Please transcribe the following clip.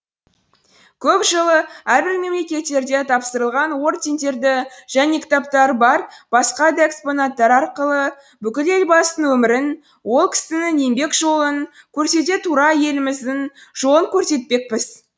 көп жылы әрбір мемлекеттерде тапсырылған ордендерді және кітаптары бар басқа да экспонаттар арқылы бүкіл елбасының өмірін ол кісінің еңбек жолын көрсете тура еліміздің жолын көрсетпекпіз